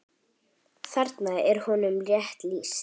Þarna er honum rétt lýst.